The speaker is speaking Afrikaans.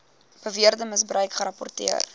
beweerde misbruik gerapporteer